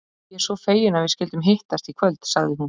Ég er svo fegin að við skyldum hittast í kvöld, sagði hún.